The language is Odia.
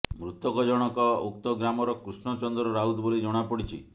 ମୃତକ ଜଣକ ଉକ୍ତ ଗ୍ରାମର କୃଷ୍ଣ ଚନ୍ଦ୍ର ରାଉତ ବୋଲି ଜଣାପଡିଛି